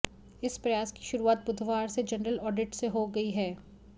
इस प्रयास की शुरुआत बुधवार से जनरल ऑडिट से हो गई है